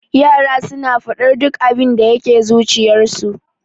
Yara suna faɗar abinda duk abinda yake zuciyarsu.